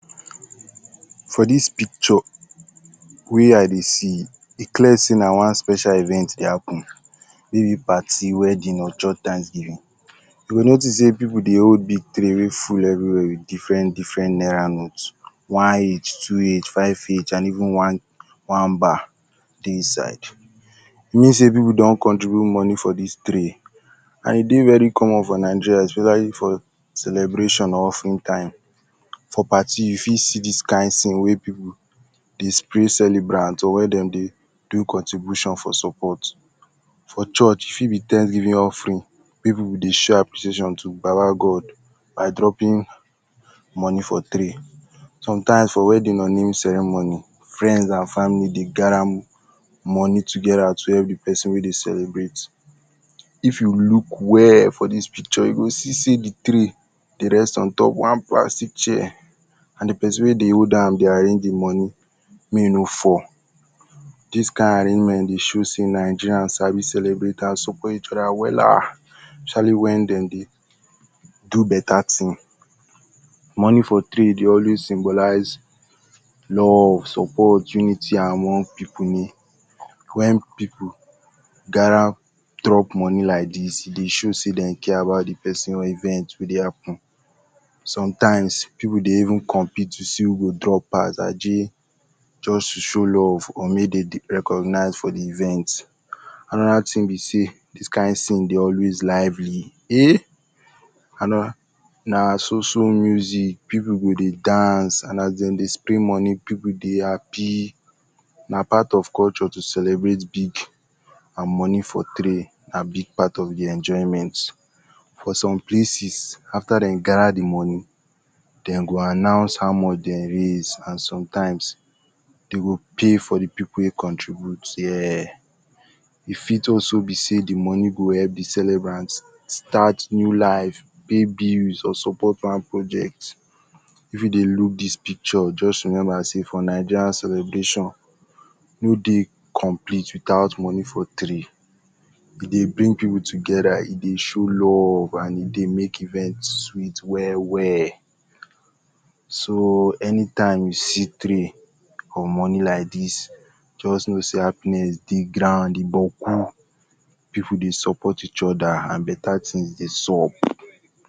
For dis pikcho wey I dey see, e clear sey na one special event dey happen, mey be party, wedin or church tanksgivin. You go notis sey pipu dey hold big tree wey full everi where with diferent-deferent naira note, IH, 2H, 5H and even fine bar dey inside. E mean sey pipu don contribute moni for dis tray and e dey very common for Nigeria weda if for celebrashon or offering time. For pati you fit see dis kind tin wey pipu dey spray celebrant or wen dem dey do contribushon for sopot. For church e fit be tanksgivin offering pipu dey sho appreciation to baba god, by dropin moni for tray, sometimes for wedin, or naming ceremony, frends and famili dey gada moni togeda to help di pesin wey dey celebrate. If you luk well for dis pikcho, you go see sey di tree dey rest on top one plastic chair and di pesin wey dey hold am dey arrange di moni mey e no fall. Dis kind arrangement dey sho sey nigeria sabi celebrate…………?wella especiali wen dem dey do beta tin. Moni for tray dey simbolise love, sopot, and unity among pipu ni wen pipu gada drop moni like dis, e dey sho sey den care about pesin event wey dey happen. Somtimes, pipu dey even compit to see who drop pas just to sho love or mey de dey recognize for di event. Anoda tin be sey dis kind tin dey always dey lively. Na so-so muzik, pipu go dey dance and as de dey spray moni pipu go dey hapi. Na part of kolcho to celebrate big and moni for tray big and moni for tray na big part of di enjoyment. For som places, afta dey gada di moni dem go announce how moch dem race and somtimes de go pay for di pipu wey contribute dia. E fit also be sey di moni go help di celebrant start new life, take build or sopot one project. If you dey luk dis pikcho just rememba sey for naija celebrashon no dey complete without moni for tray. E dey bring pipu togeda, e dey sho love and e dey make event sweet we-well, so, any time you see tray for moni like dis jost know sey happiness dey ground, e gboku, pipu dey sopot each oda and beta tin dey sob.